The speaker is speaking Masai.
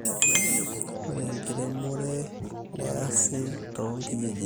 Ore enkiremero neesi too kijijini